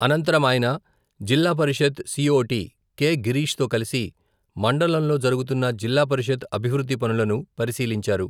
అనంతరం ఆయన, జిల్లా పరిషత్ సి.ఓ.టి కె.గిరీష్ తో కలిసి, మండలంలో జరుగుతున్న జిల్లా పరిషత్ అభివృద్ధి పనులను, పరిశీలించారు.